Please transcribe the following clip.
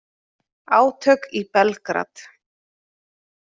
Átök í Belgrad